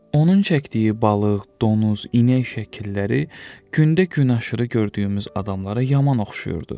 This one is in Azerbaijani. Onun çəkdiyi balıq, donuz, inək şəkilləri gündə gün aşırı gördüyümüz adamlara yaman oxşayırdı.